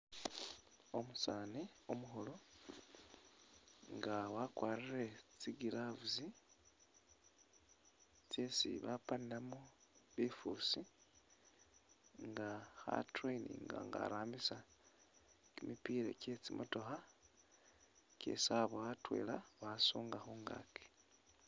Umusaani umukhulu nga wakwarire tsi gloves tsisi bapanilamu bifuusi, nga kha traininga nga arambisa kimipila kye tsimotokha kyesi aboya atwela wasuunga mungaaki.